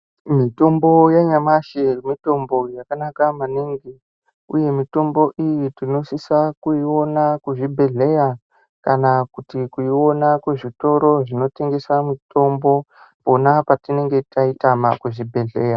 Mitombo yanyamashi mitombo yakanaka mainingi uye mitombo iyi tinosise kuiona kuzvibhedhleya kana kuti kuiona kuzvitore zvinotengesa mitombo pona patinenge taitama muzvibhedhleya.